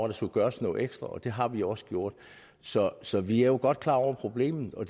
der skulle gøres noget ekstra og det har vi også gjort så så vi er jo godt klar over problemet og